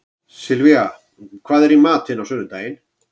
Sylvía, hvað er í matinn á sunnudaginn?